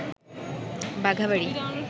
বাঘাবাড়ি